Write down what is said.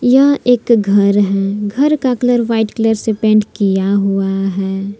यह एक घर है घर का कलर वाइट कलर से पेंट किया हुआ है।